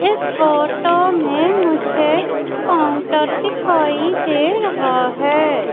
इस फोटो मैं मुझे काउंटर दिखाई दे रहा हैं।